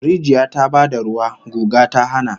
Rijiya ta ba da ruwa, guga ta hana